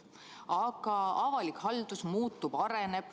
Aga avalik haldus muutub, areneb.